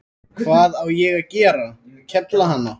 Hvað á ég að gera, kefla hana?